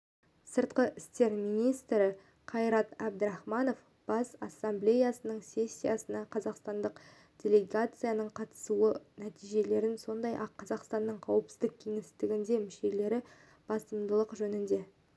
сыртқы істер министрі қайрат әбдірахманов бас ассамблеясының сессиясына қазақстандық делегацияның қатысу нәтижелерін сондай-ақ қазақстанның қауіпсіздік кеңесіндегі мүшелігі басымдықтары жөнінде